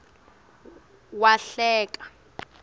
wahleka